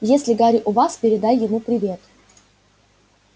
если гарри у вас передай ему привет